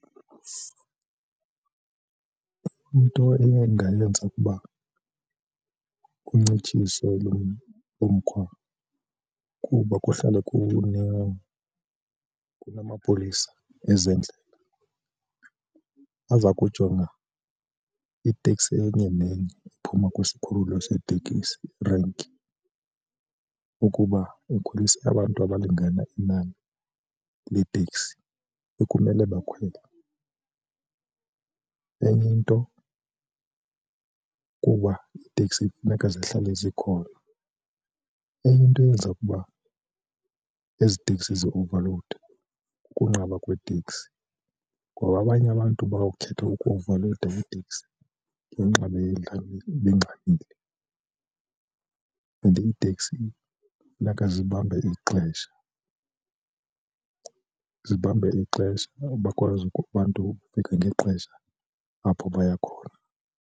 Into eyendayenza uba kuncitshiswe lo, lo mkhwa kuba kuhlale kunamapolisa ezendlela aza kujonga iteksi enye nenye ephuma kwisikhululo seteksi, irenki, ukuba ukhwelise abantu abalingana inani leteksi ekumele bakhwele. Enye into kuba iiteksi kufuneka zihlale zikhona, enye into eyenza ukuba ezi teksi ziovalowude kukunqaba kwetekisi ngoba abanye abantu bawukhetha ukuovalowuda kwiteksi ngenxa bengxamile. And iteksi funeka zibambe ixesha, zibambe ixesha bakwazi ukuba abantu bafike ngexesha apho baya khona.